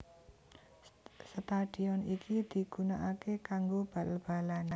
Stadion iki digunakake kanggo bal balan